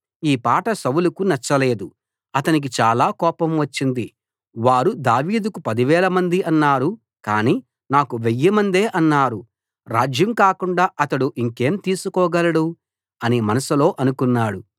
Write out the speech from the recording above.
ఈ పాట సౌలుకు నచ్చలేదు అతనికి చాలా కోపం వచ్చింది వారు దావీదుకు పదివేలమంది అన్నారు కానీ నాకు వెయ్యిమందే అన్నారు రాజ్యం కాకుండా అతడు ఇంకేం తీసుకోగలడు అని మనసులో అనుకున్నాడు